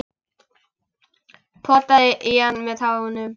Potaði í hann með tánum.